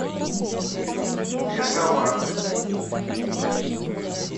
пешавар